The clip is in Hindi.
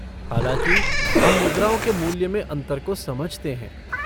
हालाँकि, हम मुद्राओं के मूल्य में अंतर को समझते हैं।